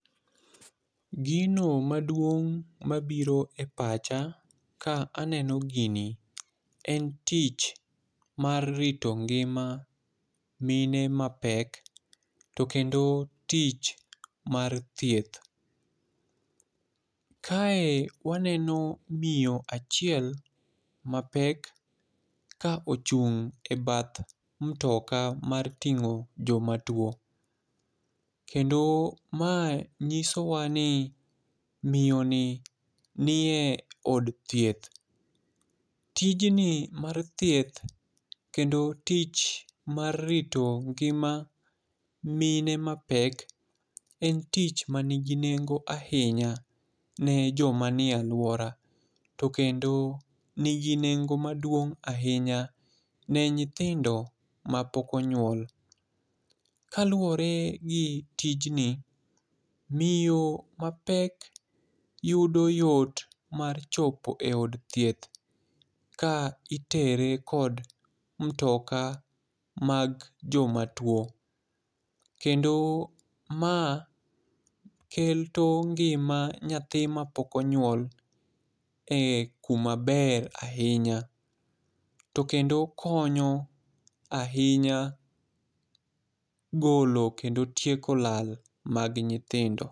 Gino maduong' mabiro e pacha ka aneno gini en tich mar rito ngima mine mapek, to kendo tich mar thieth. Kae waneno miyo achiel mapek ka ochung' e bath mtoka mar ting'o joma two. Kendo mae nyiso wa ni miyo ni, nie od thieth. Tijni mar thieth, kendo tich mar rito ngima, mine mapek, en tich manigi nengo ahinya, ne joma nie alwora. To kendo nigi nengo maduong' ahinya ne nyithindo ma pok onyuol. Ka luowore gi tijni, miyo mapek yudo yot mar chopo e od thieth ka itere kod mtoka mag joma two. Kendo ma keto ngima nyathi ma pok onyuol, e kuma ber ahinya. To kendo konyo ahinya golo kendo tieko lal mag nyithindo.